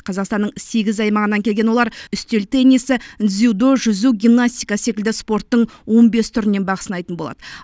қазақстанның сегіз аймағынан келген олар үстел теннисі дзюдо жүзу гимнастика секілді спорттың он бес түрінен бақ сынайтын болады